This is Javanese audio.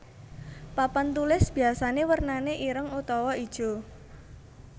Papan tulis biyasané wernané ireng utawa ijo